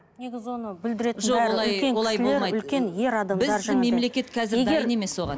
негізі оны бүлдіретін